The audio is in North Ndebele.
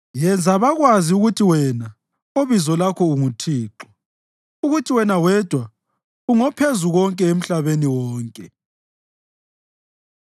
Yenza bakwazi ukuthi wena, obizo lakho unguThixo ukuthi wena wedwa ungoPhezukonke emhlabeni wonke.